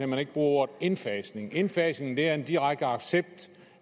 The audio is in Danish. man ikke bruger ordet indfasning indfasning er en direkte accept